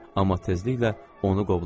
Amma tezliklə onu qovlamışdı.